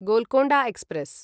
Golconda express